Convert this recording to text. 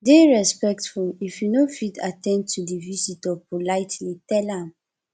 dey respectful if you no fit at ten d to di visitor politely tell am